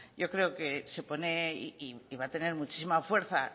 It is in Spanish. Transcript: yo creo que se pone y va a tener muchísima fuerza